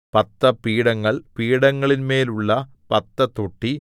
പത്ത് പീഠങ്ങൾ പീഠങ്ങളിന്മേലുള്ള പത്ത് തൊട്ടി